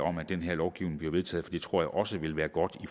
om at den her lovgivning bliver vedtaget det tror jeg også vil være godt